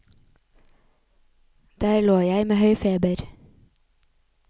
Der lå jeg med høy feber.